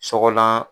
Sɔgɔlan